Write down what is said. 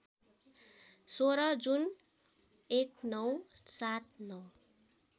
१६ जुन १९७९